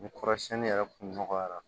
Ni kɔrɔsiyɛnni yɛrɛ kun nɔgɔyara